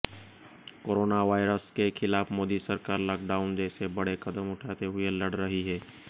coronavirus के खिलाफ मोदी सरकार लॉकडाउन जैसे बड़े कदम उठाते हुए लड़ रही है